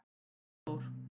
Ingi Þór-